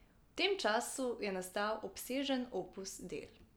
V tem času je nastal obsežen opus del.